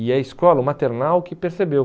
E é a escola, o maternal, que percebeu.